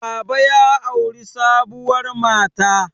baba ya auri sabuwar mata